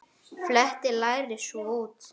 Fletjið lærið svo út.